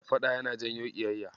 Faɗa yana janyo ƙiyayya.